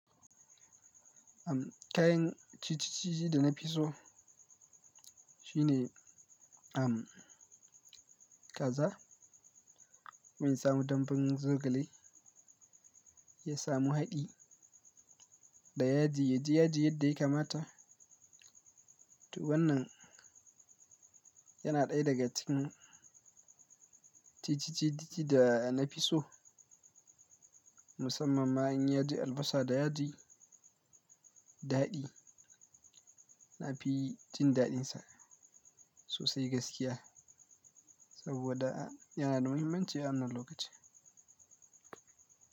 Uhm, kayan ci cici da na fi so shine, uhm, kaza, kuma ya samu dambun zogale ya samu haɗi, da yaji, ya ji yaji yadda ya kamata. To wannan yana ɗaya daga cikin ci cici da na fi so, musamman ma in yi yaji albasa da yaji daɗi. Na fi jin daɗinsa sosai gaskiya, saboda yana da muhimmanci a wannan lokaci.